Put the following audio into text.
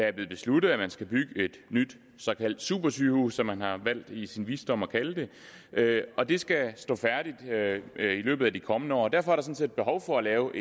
er blevet besluttet at man skal bygge et nyt såkaldt supersygehus som man har valgt i sin visdom at kalde det det og det skal stå færdigt i løbet af de kommende år og derfor er set behov for at lave